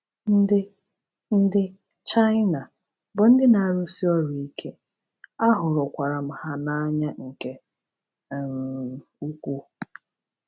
Ndị Ndị Chaịna bụ ndị na-arụsi ọrụ ike, ahụrụkwara m ha n’anya nke um ukwuu.